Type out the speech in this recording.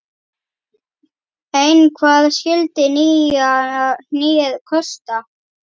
Ein hvað skyldi nýja hnéð kosta?